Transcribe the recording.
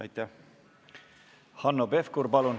Aitäh!